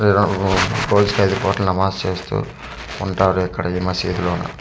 నమాజ్ చేస్తూ ఉంటారు ఇక్కడ ఈ మసీద్ లోను.